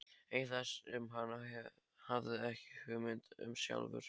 Eitthvað sem hann hafði ekki hugmynd um sjálfur.